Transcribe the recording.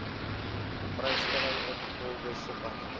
vrystelling ingevolge subartikel